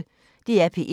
DR P1